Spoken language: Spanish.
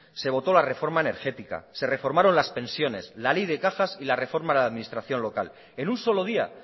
se votó la reforma energética se reformaron las pensiones la ley de cajas y la reforma de la administración local en un solo día